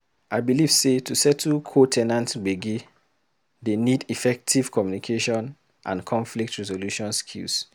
I believe sey to settle co- ten ant gbege dey need effective communication and conflict resolution skills.